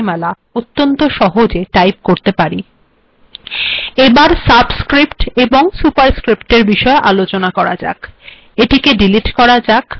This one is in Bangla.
এখন আমরা সাবস্ক্িরপ্ট্ এবং সুপারস্ক্িরপ্ট্ এর িবষেয আলোচনা করব এিটেক িডিলট্ করা যাক